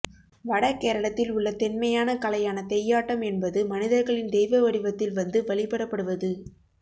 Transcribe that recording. வடகேரளத்தில் உள்ள தொன்மையான கலையான தெய்யாட்டம் என்பது மனிதர்கள் தெய்வ வடிவத்தில் வந்து வழிபடப்படுவது